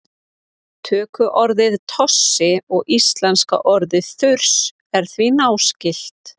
tökuorðið tossi og íslenska orðið þurs eru því náskyld